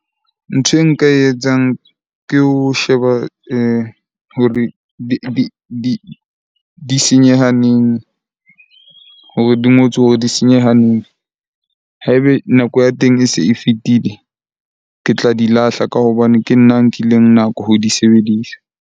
Ntho e nka e etsang ke ho sheba di senyeha neng hore di ngotswe hore di senyeha neng? Ha ebe nako ya teng e se e fetile, ke tla di lahla ka hobane ke nna a nkileng nako ho di sebedisa.